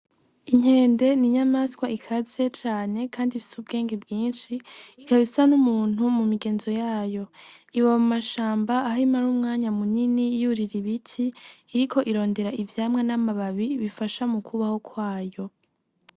Inkende ni inyamaswa ikaze cane, kandi ifise ubwenge bwinshi ikabaisa n'umuntu mu migenzo yayo iba mu mashamba aho imara umwanya munyini yurira ibiti iriko irondera ivyamwa n'amababi bifasha mu kwubaho kwayo.